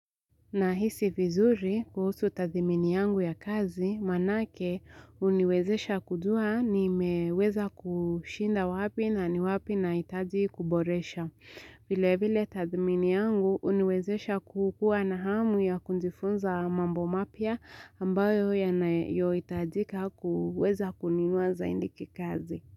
Na hisi vizuri kuhusu tathimini yangu ya kazi, manake huniwezesha kujua nimewezesha kushinda wapi nani wapi nahitaji kuboresha. Vile vile tathimini yangu huniwezesha kukuwa na hamu ya kujifunza mambo mapya ambayo yanayohitajika kuweza kununua zaidi kikazi.